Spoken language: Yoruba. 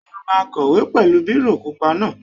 Ṣé o máa kọ̀wé pẹ̀lú bírò pupa náà?